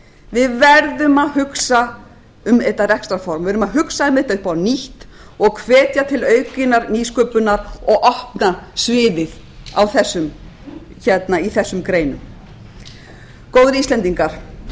við verðum að hugsa um þetta rekstrarform við verðum að hugsa einmitt upp á nýtt og hvetja til aukinnar nýsköpunar og opna sviðið í þessum greinum góðir íslendingar